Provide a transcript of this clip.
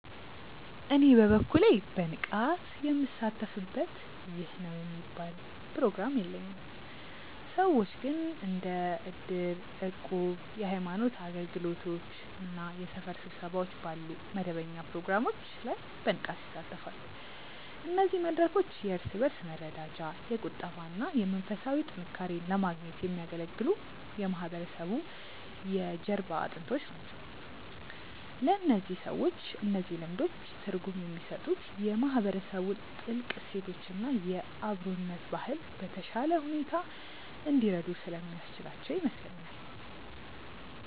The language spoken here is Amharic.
እኔ በበኩሌ በንቃት ምሳተፍበት ይህ ነው የሚባል ፕሮግራም የለኝም። ሰዎች ግን እንደ እድር፣ እቁብ፣ የሃይማኖት አገልግሎቶች እና የሰፈር ስብሰባዎች ባሉ መደበኛ ፕሮግራሞች ላይ በንቃት ይሳተፋሉ። እነዚህ መድረኮች የእርስ በእርስ መረዳጃ፣ የቁጠባ እና መንፈሳዊ ጥንካሬን ለማግኘት የሚያገለግሉ የማህበረሰቡ የጀርባ አጥንቶች ናቸው። ለእነዚህ ሰዎች እነዚህ ልምዶች ትርጉም የሚሰጡት የማህበረሰቡን ጥልቅ እሴቶች እና የአብሮነት ባህል በተሻለ ሁኔታ እንዲረዱ ስለሚያስችላቸው ይመስለኛል።